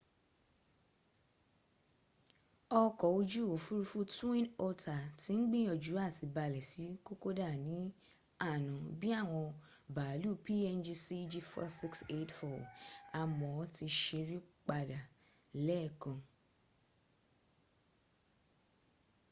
ọkọ̀ ojú òfúrufú twin otter ti ń gbìyànjú à ti balẹ̀ sí kokoda ní àná bí i àwọn bàálù png cg4684 àmọ́ ó ti sẹ́rí padà lẹ́ẹ̀kan